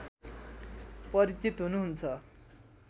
परिचित हुनुहुन्छ